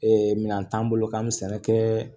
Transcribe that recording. minɛn t'an bolo k'an bɛ sɛnɛ kɛ